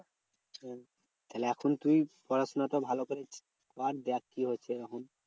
হ্যাঁ তাহলে এখন তুই পড়াশোনা তো ভালো করে কর। দেখ কি হচ্ছে তখন?